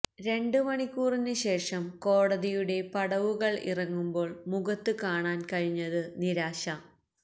രണ്ട് മണിക്കൂറിന് ശേഷം കോടതിയുടെ പടവുകള് ഇറങ്ങുമ്പോള് മുഖത്ത് കാണാന് കഴിഞ്ഞത് നിരാശ